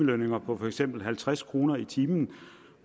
lønninger på for eksempel halvtreds kroner i timen